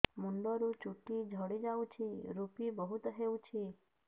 ମୁଣ୍ଡରୁ ଚୁଟି ଝଡି ଯାଉଛି ଋପି ବହୁତ ହେଉଛି